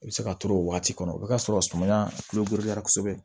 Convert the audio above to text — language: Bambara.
I bɛ se ka turu o waati kɔnɔ o bɛ t'a sɔrɔ sumaya kure la kosɛbɛ